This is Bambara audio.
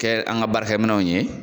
Kɛ an ka baarakɛminɛnw ye